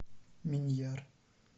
миньяр